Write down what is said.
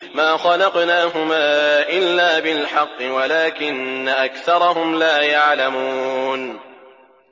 مَا خَلَقْنَاهُمَا إِلَّا بِالْحَقِّ وَلَٰكِنَّ أَكْثَرَهُمْ لَا يَعْلَمُونَ